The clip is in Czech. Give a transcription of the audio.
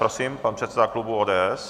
Prosím, pan předseda klubu ODS.